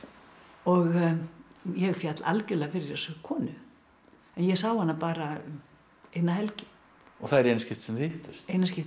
og ég féll algerlega fyrir þessari konu ég sá hana bara eina helgi og það er í eina skipti sem þið hittust eina skiptið